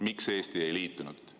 Miks Eesti ei liitunud?